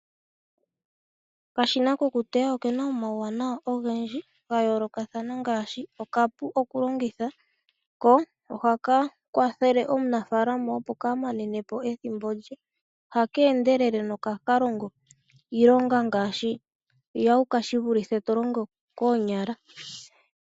Okashina ko ku teya okena omauwanawa ogendji ga yoolokathana ngaashi; okapu okulongitha , ko ohaka kwathele omunafaalama opo kaa manenepo ethimbo lye. Oha keendelele no ha ka longo iilonga ngaashi mbyoka shi vulithe to longo koonyala.